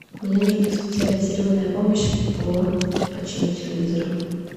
мне нужна специализированная помощь по почину телевизора